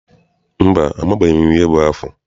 Mba, amaghị m ihe bụ afụ.